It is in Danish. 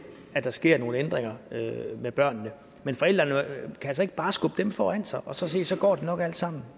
at der sker nogle ændringer med børnene men forældrene kan altså ikke bare skubbe dem foran sig og så sige at så går det nok alt sammen